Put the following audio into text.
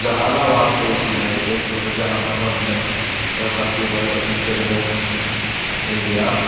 जहानाबाद के इ सीन है देख रेलों Jahanabad bank Bharatiya State Bank of India --